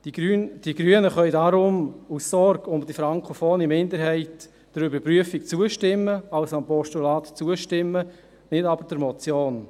Die Grünen können deshalb aus Sorge um die frankophone Minderheit der Überprüfung zustimmen, also dem Postulat zustimmen, nicht aber der Motion.